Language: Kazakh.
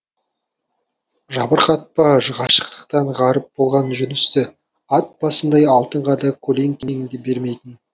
жабырқатпа ғашықтықтан ғаріп болған жүністі ат басындай алтынға да көлеңкеңді бермейтін